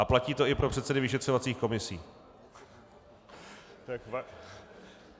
A platí to i pro předsedy vyšetřovacích komisí.